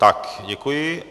Tak děkuji.